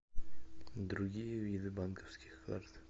другие виды банковских карт